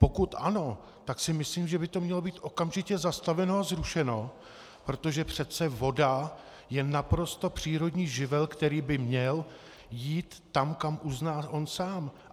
Pokud ano, tak si myslím, že by to mělo být okamžitě zastaveno a zrušeno, protože přece voda je naprosto přírodní živel, který by měl jít tam, kam uzná on sám.